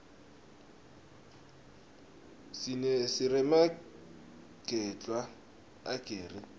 siremagedwla ageri